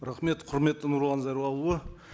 рахмет құрметті нұрлан зайроллаұлы